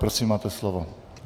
Prosím máte slovo.